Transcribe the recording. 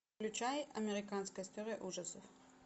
включай американская история ужасов